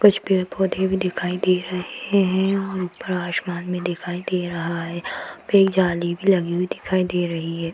कुछ पेड़-पौधे भी दिखाई दे रहे है और ऊपर आसमान भी दिखाई दे रहा है वहां पे एक जाली भी लगी हुई दिखाई दे रही है।